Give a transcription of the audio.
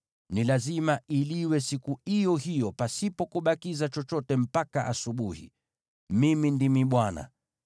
Ni lazima iliwe siku iyo hiyo, pasipo kubakiza chochote mpaka asubuhi. Mimi ndimi Bwana .